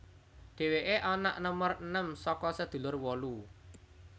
Dheweke anak nomer enem saka sedulur wolu